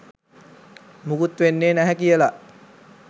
මුකුත් වෙන්නෙ නැහැ කියලා